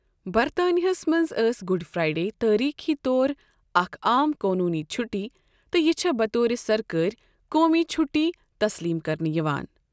برطانِاہس منٛز ٲس Good Friday تٲریٖخی طور اَکھ عام قونوٗنی چُھٹی تہٕ یہِ چھےٚ بطور سرکٲرۍ قومی چُھٹی تسلیٖم کرنہٕ یِوان۔